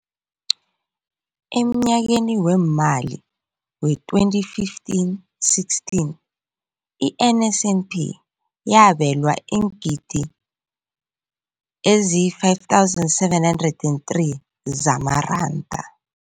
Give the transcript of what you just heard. Emnyakeni weemali we-2015, 16, i-NSNP yabelwa iingidi ezi-5 703 zamaranda.